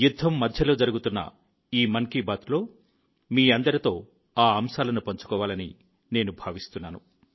యుద్ధం మధ్యలో జరుగుతున్న ఈ మన్ కి బాత్లో మీ అందరితో ఆ అంశాలను పంచుకోవాలని నేను భావిస్తున్నాను